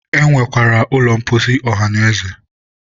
e nwekwara ụlọ mposi ọhanaeze